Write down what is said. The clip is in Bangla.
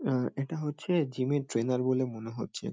আ এটা হচ্ছে জিম -এর ট্রেইনার বলে মনে হচ্ছে ।